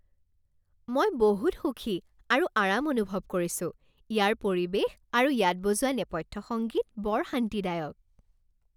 মই বহুত সুখী আৰু আৰাম অনুভৱ কৰিছো, ইয়াৰ পৰিৱেশ আৰু ইয়াত বজোৱা নেপথ্য সংগীত বৰ শান্তিদায়ক!